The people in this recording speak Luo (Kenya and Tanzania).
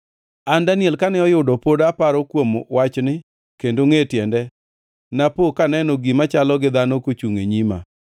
An, Daniel, kane oyudo pod aparo kuom wachni kendo angʼe tiende, napo kaneno gima chalo gi dhano kochungʼ e nyima.